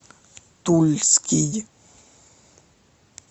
тульский